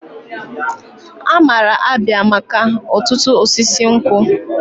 Amara Abia maka otutu osisi nkwu.